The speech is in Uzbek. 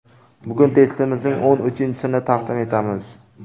Bugun testimizning o‘n uchinchisini taqdim etamiz.